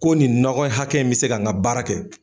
Ko nin nɔgɔ hakɛ in bɛ se ka n ka baara kɛ.